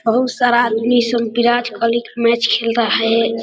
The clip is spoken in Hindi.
बहुत सारा आदमी संग बिराज कोहली का मैच खेल रहा है।